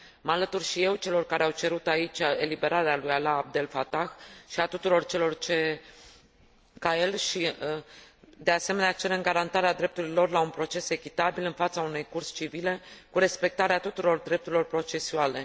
Mă alătur și eu celor care au cerut aici eliberarea lui Alaa Abdel Fatah și a tuturor celor ca el. De asemenea, cerem garantarea drepturilor la un proces echitabil, în fața unei curți civile, cu respectarea tuturor drepturilor procesuale.